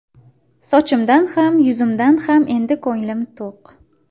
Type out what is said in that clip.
Sochimdan ham, yuzimdan ham endi ko‘nglim to‘q.